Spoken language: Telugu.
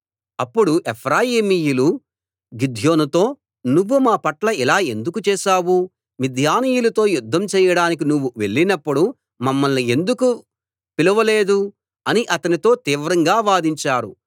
అప్పుడు ఎఫ్రాయిమీయులు గిద్యోనుతో నువ్వు మా పట్ల ఇలా ఎందుకు చేశావు మిద్యానీయులతో యుద్ధం చెయ్యడానికి నువ్వు వెళ్ళినప్పుడు మమ్మల్ని ఎందుకు పిలవలేదు అని అతనితో తీవ్రంగా వాదించారు